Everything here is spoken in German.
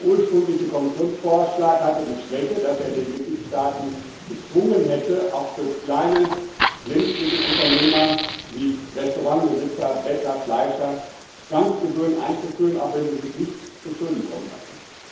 Der ursprüngliche Kommissionsvorschlag hatte die Schwäche, dass er die Mitgliedstaaten gezwungen hätte, auch für kleine Lebensmittelunternehmer wie Restaurantbesitzer, Bäcker, Fleischer Zwangsgebühren einzuführen, auch wenn sie sich nichts zuschulden kommen lassen.